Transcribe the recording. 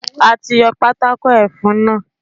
A ti yọ Pátákó ẹfun náà.